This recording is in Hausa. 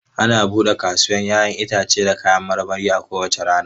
Ana buɗe kasuwar 'ya'yan itace da kayan marmari a kowace rana.